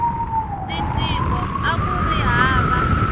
tinqingho akuri hava